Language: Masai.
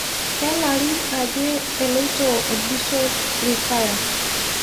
Kelarrin aje elotio orbishon retire